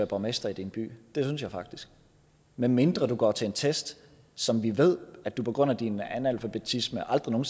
borgmester i din by medmindre du går til en test som vi ved at du på grund af din analfabetisme aldrig nogen